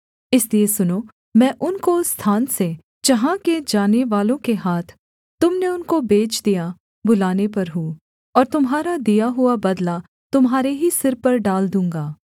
इसलिए सुनो मैं उनको उस स्थान से जहाँ के जानेवालों के हाथ तुम ने उनको बेच दिया बुलाने पर हूँ और तुम्हारा दिया हुआ बदला तुम्हारे ही सिर पर डाल दूँगा